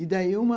E daí uma...